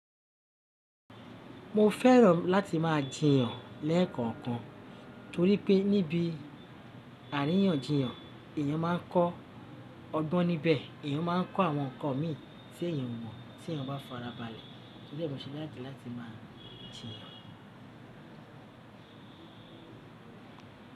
Mo fẹ́ràn láti máa jiyàn lẹ́ẹ̀kọ̀kan torí pé níbi àríyànjiyàn èyàn máa ń kọ́ ọgbọ́n níbẹ̀, èyàn máa ń kọ́ àwọn ǹkan mí tí èyàn mọ̀ tí èyàn bá farabalẹ̀. Torí e mo ṣe laiki láti máa jiyàn.